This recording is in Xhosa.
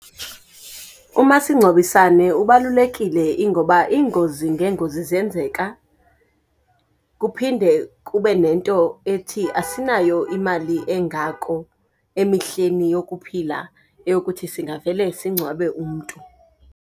Umasingcwabisane ubalulekile, ingoba iingozi ngeengozi ziyenzeka. Kuphinde kube nento ethi asinayo imali engako emihleni yokuphila eyokuthi singavele singcwabe umntu.